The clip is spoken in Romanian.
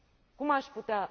Cum aș putea?